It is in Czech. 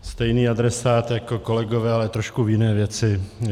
Stejný adresát jako kolegové, ale trošku v jiné věci.